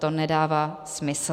To nedává smysl!